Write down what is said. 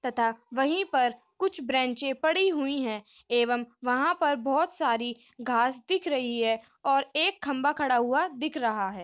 तथा वही पर कुछ ब्रेंचे पड़ी हुए है एवं वहा पर बहोत सारी घास दिख रही है और एक खम्भा खड़ा हुआ दिख रह है।